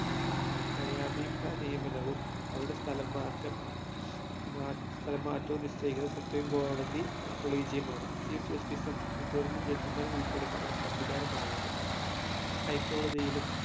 ന്യായാധിപ നിയമനവും അവരുടെ സ്ഥലം മാറ്റം ഏർ സ്ഥലം മാറ്റവും നിശ്ചയിക്കുന്ന supreme കോടതി collegium ആണ് chief justice ഉം മുതിർന്ന judge മാരും ഉൾപ്പെടുന്ന ഒരു സംവിധാനമാണിത് high കോടതിയിലും